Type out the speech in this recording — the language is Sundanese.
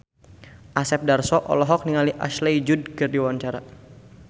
Asep Darso olohok ningali Ashley Judd keur diwawancara